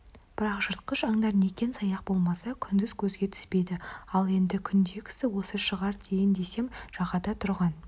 бірақ жыртқыш аңдар некен-саяқ болмаса күндіз көзге түспейді ал енді күндегісі осы шығар дейін десем жағада тұрған